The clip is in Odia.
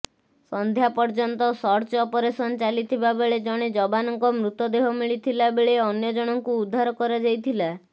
ସନ୍ଧ୍ୟା ପର୍ୟ୍ୟନ୍ତ ସର୍ଚ୍ଚ ଅପରେଶନ ଚାଲିଥିବାବେଳେ ଜଣେ ଯବାନଙ୍କ ମୃତଦେହ ମିଳିଥିଲାବେଳେ ଅନ୍ୟ ଜଣଙ୍କୁ ଉଦ୍ଧାର କରାଯାଇଥିଲା